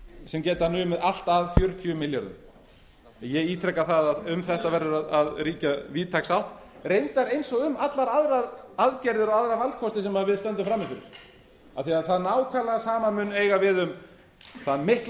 sem geti numið allt að fjörutíu milljörðum en ég ítreka það að um þetta verður að ríkja víðtæk sátt reyndar eins og um allar aðrar aðgerðir og aðra valkosti sem við stöndum frammi fyrir af því það nákvæmlega sama mun eiga við um þann mikla